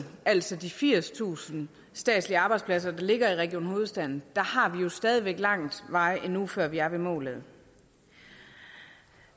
altså de firstusind statslige arbejdspladser der ligger i region hovedstaden har vi jo stadig væk lang vej endnu før vi er ved målet